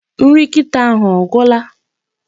Nri nkita ahụ ọ gwula?